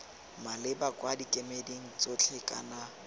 maleba kwa dikemeding tsotlhe kana